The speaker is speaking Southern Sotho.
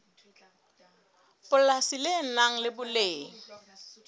polasi le nang le boleng